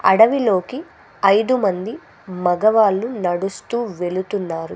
అడవిలోకి ఐదు మంది మగవాళ్ళు నడుస్తూ వెళుతున్నారు.